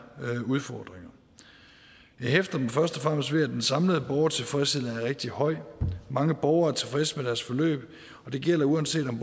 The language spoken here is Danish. udfordringer jeg hæfter mig først og fremmest ved at den samlede borgertilfredshed er rigtig høj mange borgere er tilfredse med deres forløb og det gælder uanset om